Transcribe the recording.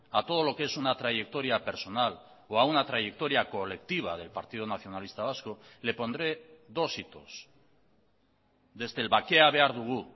a todo lo que es una trayectoria personal o a una trayectoria colectiva del partido nacionalista vasco le pondré dos hitos desde el bakea behar dugu